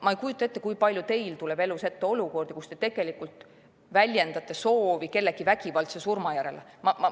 Ma ei kujuta ette, kui palju teil tuleb elus ette olukordi, kus te tegelikult väljendate soovi kellegi vägivaldse surma järele.